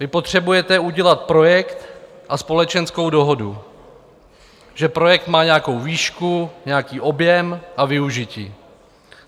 Vy potřebujete udělat projekt a společenskou dohodu, že projekt má nějakou výšku, nějaký objem a využití.